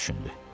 O düşündü.